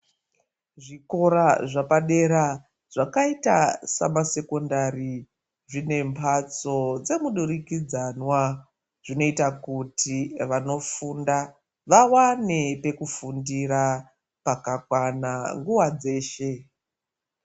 Zvikora zvepadera zvakayita samasekondari, zvinembatso dzemudurikidzanwa, zvinoyita kuti vanofunda vawane pekufundira pakakwana nguva dzeshe.